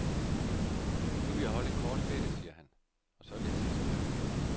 Nu vil jeg holde en kort ferie, siger han, og så vil jeg til at skrive igen.